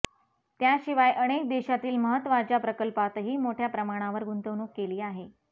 त्याशिवाय अनेक देशातील महत्त्वांच्या प्रकल्पातही मोठ्या प्रमाणावर गुंतवणूक केली आहे